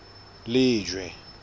lejwe